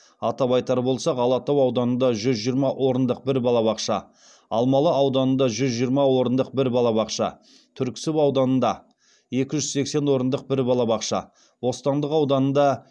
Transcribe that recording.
атап айтар болсақ алатау ауданында жүз жиырма орындық бір балабақша алмалы ауданында жүз жиырма орындық бір балабақша түрксіб ауданында екі жүз сексен орындық бір балабақша бостандық ауданында